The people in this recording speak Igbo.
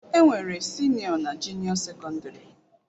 Enwere Sinio na junio secondary.